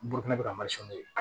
Bolokɛnɛ bɛ ka